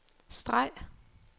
streg